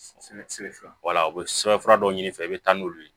Wala u bɛ sɛbɛnfura dɔw ɲini i fɛ i bɛ taa n'olu ye